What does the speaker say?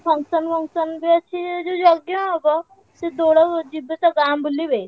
Function ମଙ୍କସନ ବି ଅଛି ଯୋଉ ଯଜ୍ଞ ହବ ସେ ଦୋଳ ଯିବେ ତ ଗାଁ ବୁଲିବେ।